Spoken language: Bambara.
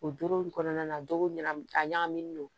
O doro in kɔnɔna na do ɲa a ɲagaminen don